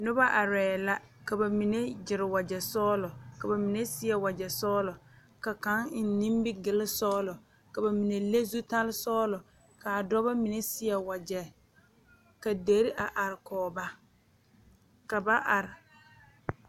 Noba arɛɛ la ka ba mine gyere wagyɛ sɔglɔ ka ba mine seɛ wagyɛ sɔglɔ ka kaŋ eŋ nimigilsɔglɔ ka ba mine le zutalsɔglɔ k,a dɔba mine seɛ wagyɛ ka deri a are a kɔge ba ka ba are.